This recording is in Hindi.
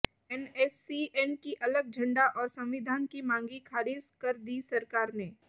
एनएससीएन की अलग झंडा और संविधान की मांगी खारिज कर दी सरकार ने